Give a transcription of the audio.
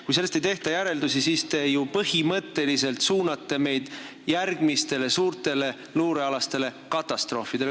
Kui sellest ei tehta järeldusi, siis te ju põhimõtteliselt suunate meid järgmistele suurtele luurekatastroofidele.